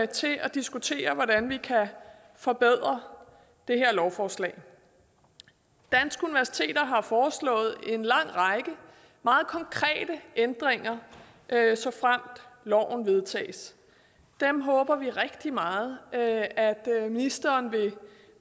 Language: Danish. til at diskutere hvordan vi kan forbedre det her lovforslag danske universiteter har foreslået en lang række meget konkrete ændringer såfremt loven vedtages dem håber vi rigtig meget at at ministeren vil